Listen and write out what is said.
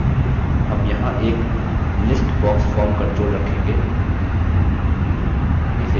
अब हम यहाँ एक list box form control रखेंगे